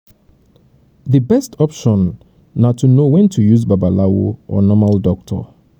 babalawo fit don um specialize for one particular sickness wey oyibo medicine no fit cure um